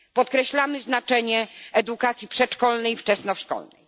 Podkreślamy znaczenie edukacji przedszkolnej i wczesnoszkolnej.